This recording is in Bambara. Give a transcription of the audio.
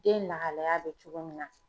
Den lahalaya bɛ cogo min na.